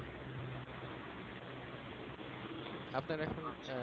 আপনার